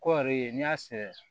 Kɔɔri ye n'i y'a sɛnɛ